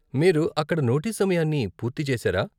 మీరు అక్కడ నోటీస్ సమయాన్ని పూర్తి చేశారా?